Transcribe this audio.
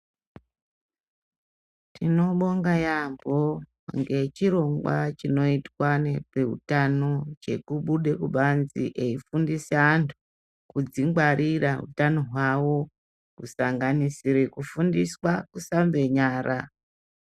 Tinobonga yambo nechirongwa chinoitwa nezvehutano chekubuda kubanze chinoshandiswa kudzingwarira hutano hwavo kusanganisa kufundisa kushambe nyara.